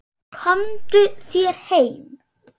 Komdu þér heim!